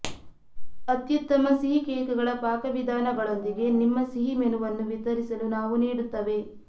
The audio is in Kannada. ಅತ್ಯುತ್ತಮ ಸಿಹಿ ಕೇಕ್ಗಳ ಪಾಕವಿಧಾನಗಳೊಂದಿಗೆ ನಿಮ್ಮ ಸಿಹಿ ಮೆನುವನ್ನು ವಿತರಿಸಲು ನಾವು ನೀಡುತ್ತವೆ